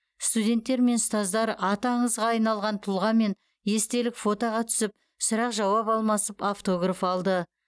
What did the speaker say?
студенттер мен ұстаздар аты аңызға айналған тұлғамен естелік фотоға түсіп сұрақ жауап алмасып автограф алды